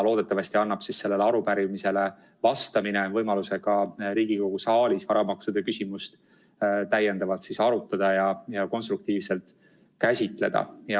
Loodetavasti annab sellele arupärimisele vastamine võimaluse ka Riigikogu saalis varamaksude küsimust arutada ja konstruktiivselt käsitleda.